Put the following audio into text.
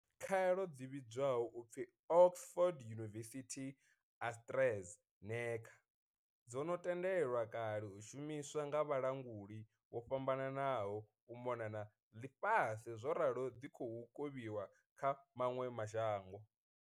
Khaelo dzi vhidzwaho u pfi Oxford University-AstraZe neca dzo no tendelwa kale u shumiswa nga vhalanguli vho fhambananaho u mona na ḽifhasi zworalo dzi khou kovhiwa kha maṅwe ma shango.